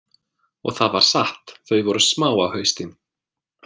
Og það var satt, þau voru smá á haustin.